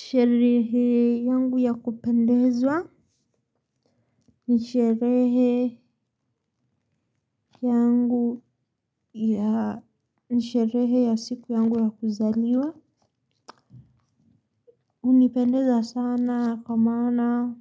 Sherehe yangu ya kupendezwa ni sherehe ya siku yangu ya kuzaliwa. Unipendeza sana kwa mana